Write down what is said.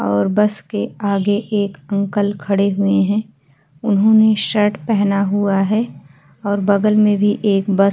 और बस के आगे एक अंकल खड़े हुए हैं उन्होंने शर्ट पहना हुआ है और बगल में भी एक बस --